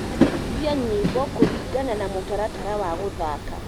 endekithia nyĩmbo kuringana na mũtaratara wa guthaka